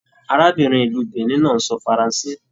Arábìnrin ìlú Benin náà n sọ faransé.